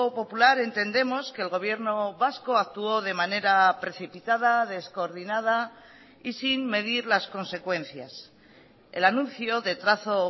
popular entendemos que el gobierno vasco actuó de manera precipitada descoordinada y sin medir las consecuencias el anuncio de trazo